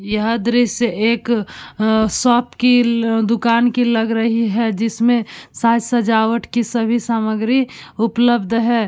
यह दृश्य एक अ शॉप कील दुकान की लग रही है जिसमें साज सजावट की सभी सामग्री उपलब्ध है।